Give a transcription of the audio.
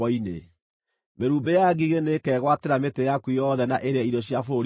Mĩrumbĩ ya ngigĩ nĩĩkegwatĩra mĩtĩ yaku yothe na ĩrĩe irio cia bũrũri waku.